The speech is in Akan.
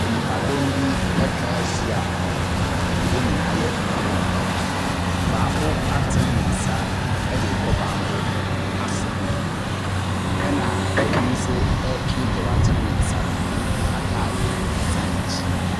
Nipadɔm bi atwa ahyia a wɔn nyinaa yɛ mmarima. Baako atene ne nsa de rekɔ baako aso ho. Ɛna obi nso retwe deɛ watene ne nsa no atadeɛ asane n'akyi.